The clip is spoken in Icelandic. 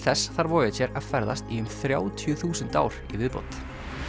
þess þarf Voyager að ferðast í um þrjátíu þúsund ár í viðbót